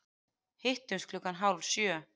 Hittumst klukkan hálf sjö.